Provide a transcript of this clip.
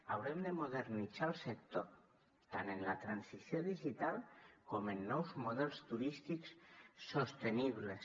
haurem de modernitzar el sector tant en la transició digital com en nous models turístics sostenibles